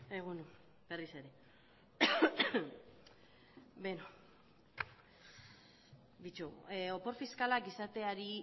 egun on berriz ere beno begiratu opor fiskalak izateari